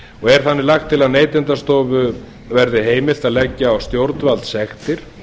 er þannig lagt til að neytendastofu verði heimilt að leggja á stjórnvaldssektir